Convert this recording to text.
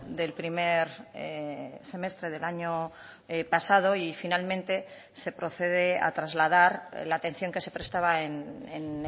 del primer semestre del año pasado y finalmente se procede a trasladar la atención que se prestaba en